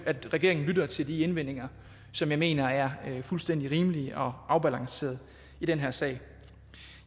at regeringen lytter til de indvendinger som jeg mener er fuldstændig rimelige og afbalancerede i den her sag